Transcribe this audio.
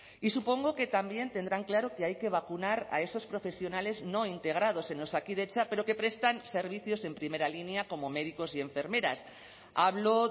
y supongo que también tendrán claro que hay que vacunar a esos profesionales no integrados en osakidetza pero que prestan servicios en primera línea como médicos y enfermeras hablo